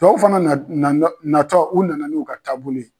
Tubabu fana na na na natɔ u nana n'u ka taabolo ye.